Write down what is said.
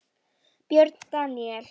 Björn Daníel?